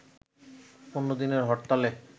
১৫ দিনের হরতালে